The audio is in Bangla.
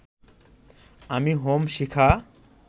আমি হোম শিখা